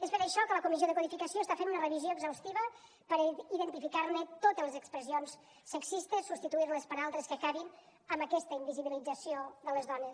és per això que la comissió de codificació n’està fent una revisió exhaustiva per identificar ne totes les expressions sexistes i substituir les per altres que acabin amb aquesta invisibilització de les dones